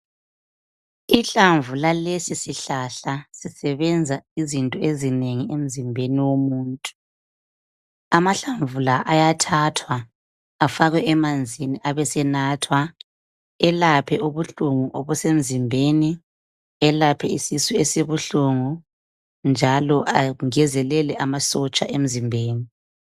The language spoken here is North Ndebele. Ihlamvu lalesi sihlahla lisebenza izinto ezinengi emzimbeni womuntu. Amahlamvu la ayathathwa afakwe emanzini abesenathwa. Elaphe ubuhlungu obusemzimbeni. Elaphe isisu esibuhlungu njalo angezelele amasotsha emzimbeni.